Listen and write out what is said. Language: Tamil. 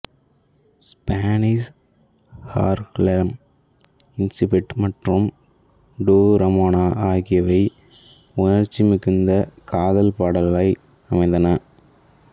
ஸ்பேனிஷ் ஹார்லெம் இன்சிடண்ட் மற்றும் டூ ரமோனா ஆகியவை உணர்ச்சி மிகுந்த காதல் பாடல்களாய் அமைந்தன